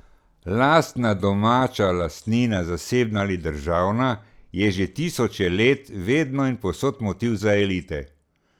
Lastna domača lastnina, zasebna ali državna, je že tisoče let, vedno in povsod, motiv za elite.